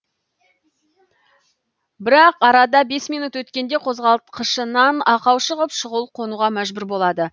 бірақ арада бес минут өткенде қозғалтқышынан ақау шығып шұғыл қонуға мәжбүр болады